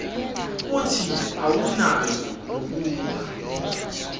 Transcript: kuthi awunayo nokuba